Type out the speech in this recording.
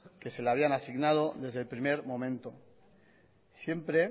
que se le habían asignado desde el primer momento siempre